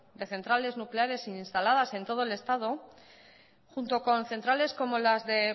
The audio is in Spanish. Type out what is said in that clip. de centrales nucleares instaladas en todo el estado junto con centrales como las de